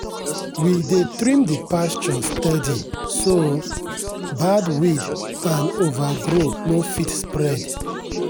we dey trim the pasture steady so bad weed and overgrow no fit spread.